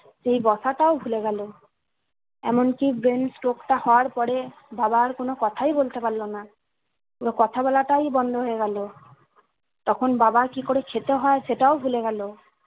সেই বসাটাও ভুলে গেলো এমনকি brain stroke টা হওয়ার পরে বাবা আর কোনো কোথায় বলতে পারলো না পুরো কথা বলাটাই বন্ধ হয়ে গেলো তখন বাবা আর কি করে খেতে হয় সেটাও ভুলে গেলো